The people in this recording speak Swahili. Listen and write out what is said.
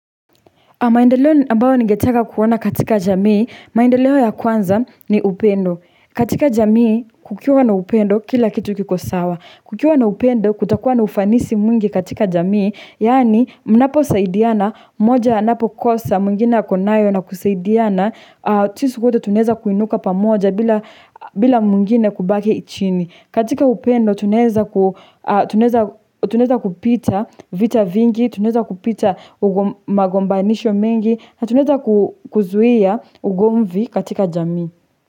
Maendeleo ambayo nigetaka kuona katika jamii, maendeleo ya kwanza ni upendo. Katika jamii, kukiwa na upendo kila kitu kiko sawa. Kukiwa na upendo, kutakuwa na ufanisi mwingi katika jamii, yani mnaposaidiana, moja anapokosa, mwingine akonayo na kusaidiana, sisi wote tunaeza kuinuka pamoja bila mwingine kubakiichini. Katika upendo tunaeza kupita vita vingi, tunqeza kupita magombanisho mengi, na tunaeza kuzuia ugomvi katika jamii.